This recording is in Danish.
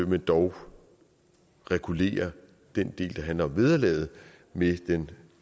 men dog regulerer den del der handler om vederlaget med den